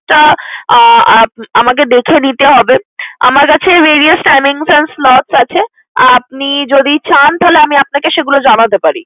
তা আহ আমাকে দেখে দিতে হবে। আমার কাছে various timings and slots আছে। আপনি যদি চান তাহলে আমি আপনাকে সেগুলো জানাতে পারি।